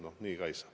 No nii ka ei saa.